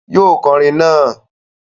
Yóò kọrin naa!